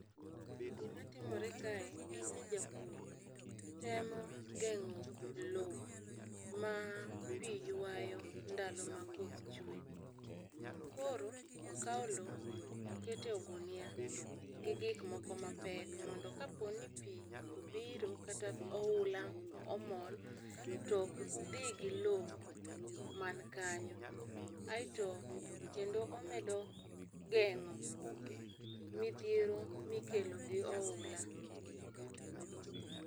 Gimatimore kae en ni japur temo geng'o lowo ma pii ywayo ndalo ma koth chwe. Koro okawo lowo okete ogunia gi gik moko mapek mondo kapo ni pii obiro kata oula omol tok dhi gi lwo man kanyo. Aeto kendo omedo geng'o midhiero mikelo gi oula.